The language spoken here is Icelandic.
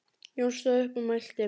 Jón stóð upp og mælti